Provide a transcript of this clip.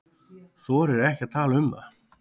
Þorir ekki að tala um það.